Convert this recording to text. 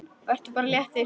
Vertu bara léttur!